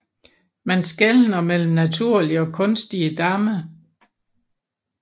Man skelner mellem naturlige og kunstige damme